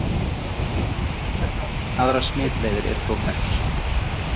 Aðrar smitleiðir eru þó þekktar.